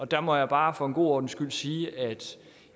der må jeg bare for god ordens skyld sige at